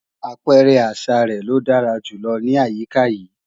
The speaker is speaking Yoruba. Àpẹrẹ àṣa rẹ̀ ló dára jù lọ ní àyíká yìí